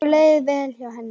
Okkur leið vel hjá henni.